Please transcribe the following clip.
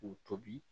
K'u tobi